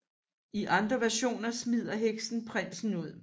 I andre versioner smider heksen prinsen ud